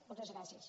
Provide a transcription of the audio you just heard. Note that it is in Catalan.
moltes gràcies